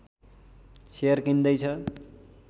share किन्दै छ